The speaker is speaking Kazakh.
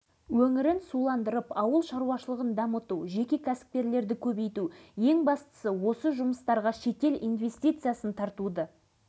осы өңірдегі мұнайды игеру бейнеу арал жезқазған автокөлік жолын салу арал балықшыларының даниямен байланысын жақсарту ауданның сыр бойы